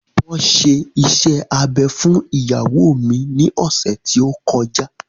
Wọn ṣe iṣẹ́ abẹ fún ìyàwó mi ní ọ̀sẹ̀ tí ó kọjá